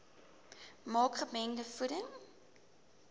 maak gemengde voeding